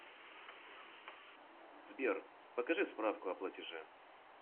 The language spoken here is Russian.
сбер покажи справку о платеже